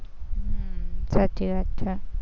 હમ સાચી વાત છે.